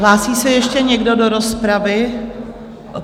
Hlásí se ještě někdo do rozpravy?